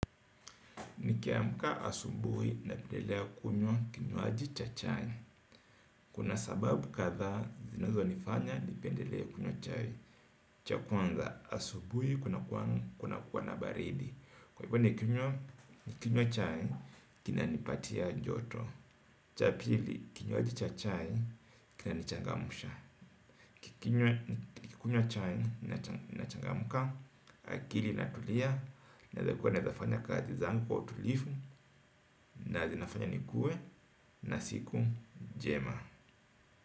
Nikiamka asubuhi napendelea kunywa kinyoaji cha chai. Kuna sababu katha zinazo nifanya nipendelea kunywa chai. Cha kwanza asubuhi kuna kuwa na baridi. Kwa hivyo nikinyo cha chai kinanipatia joto. Cha pili kinyoaji cha chai kina nichangamusha nikikunywa chai na changamuka. Akili inatulia. Na zinafanya nikuwe na siku njema.